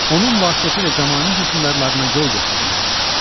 onun vasitəsilə zəmanə hökmdarlarına yol göstərmək olmuşdur.